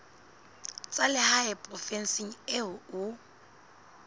tsa lehae provinseng eo o